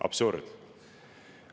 Absurd!